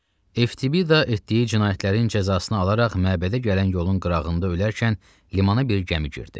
Eftibida etdiyi cinayətlərin cəzasını alaraq məbədə gələn yolun qırağında ölərkən, limana bir gəmi girdi.